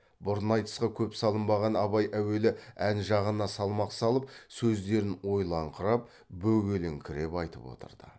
бұрын айтысқа көп салынбаған абай әуелі ән жағына салмақ салып сөздерін ойлаңқырап бөгеліңкіреп айтып отырды